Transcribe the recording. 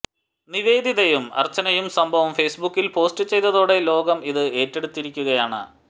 നിവേദിതയും അർച്ചനയും സംഭവം ഫേസ്ബുക്കിൽ പോസ്റ്റ് ചെയ്തതോടെ ലോകം ഇത് ഏറ്റെടുത്തിരിക്കുകയാണ്